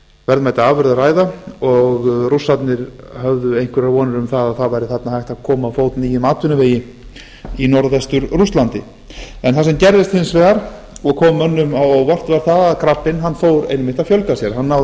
verðmæta afurð að ræða og rússarnir höfðu einhverjar vonir um að þarna væri hægt að koma á fót nýjum atvinnuvegi í norðvestur rússlandi það sem gerðist hins vegar og kom mönnum á óvart var það að krabbinn fór einmitt að fjölga sér að náði að